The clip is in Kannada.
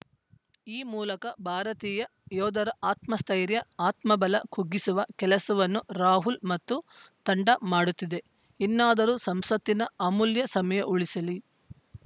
ಈ ಮೂಲಕ ಭಾರತೀಯ ಯೋಧರ ಆತ್ಮಸ್ಥೈರ್ಯ ಆತ್ಮಬಲ ಕುಗ್ಗಿಸುವ ಕೆಲಸವನ್ನು ರಾಹುಲ್‌ ಮತ್ತು ತಂಡ ಮಾಡುತ್ತಿದೆ ಇನ್ನಾದರೂ ಸಂಸತ್ತಿನ ಅಮೂಲ್ಯ ಸಮಯ ಉಳಿಸಲಿ